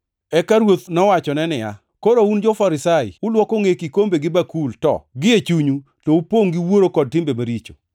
Eka Ruoth nowachone niya, “Koro un jo-Farisai ulwoko ngʼe kikombe gi bakul to, gie chunyu to upongʼ gi wuoro kod timbe maricho.